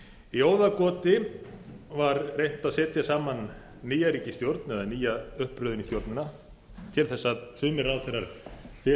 í óðagoti var reynt að setja saman nýja ríkisstjórn eða nýja uppröðun í stjórnina til að sömu ráðherrar þyrftu